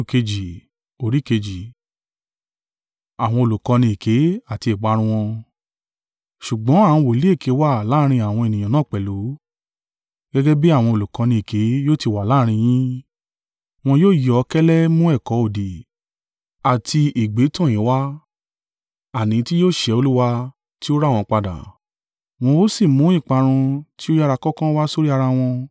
Ṣùgbọ́n àwọn wòlíì èké wà láàrín àwọn ènìyàn náà pẹ̀lú, gẹ́gẹ́ bí àwọn olùkọ́ni èké yóò ti wà láàrín yín. Wọn yóò yọ́ kẹ́lẹ́ mú ẹ̀kọ́ òdì àti ègbé tọ̀ yín wa, àní tí yóò sẹ́ Olúwa tí ó rà wọ́n padà, wọ́n ó sì mú ìparun ti o yára kánkán wá sórí ara wọn.